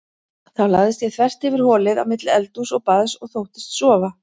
Þá lagðist ég þvert yfir holið á milli eldhúss og baðs og þóttist sofa.